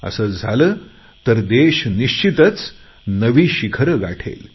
असे झाले तर देश निश्चितच नवी शिखरं गाठेल